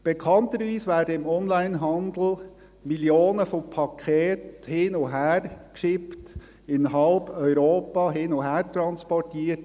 Bekanntlich werden im Onlinehandel Millionen von Paketen hin und her geschickt, in halb Europa hin und her transportiert.